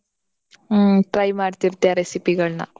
ಹ್ಮ್ try ಮಾಡ್ತೀರ್ತಿಯ recipe ಗಳ್ನ.